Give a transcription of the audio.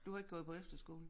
Du har ikke gået på efterskole?